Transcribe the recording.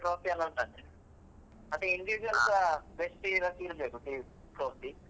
trophy ಎಲ್ಲ ಉಂಟಂತೆ ಮತ್ತೆ individual ಸ best ಗೆಸ ಇರ್ಬೇಕು trophy .